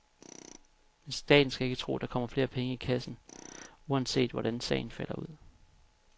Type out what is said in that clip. Men staten skal ikke tro, der kommer flere penge i kassen uanset, hvordan sagen falder ud.